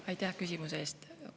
Aitäh küsimuse eest!